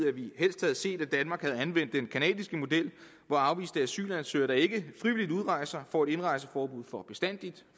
at vi helst havde set at danmark havde anvendt den canadiske model hvor afviste asylansøgere der ikke frivilligt udrejser får et indrejseforbud for bestandig